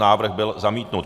Návrh byl zamítnut.